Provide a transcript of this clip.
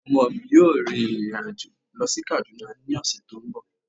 Ọmọ mi yóò rìrìn àjò lọ sí Kánádà ní ọ̀sẹ̀ tó ń bọ̀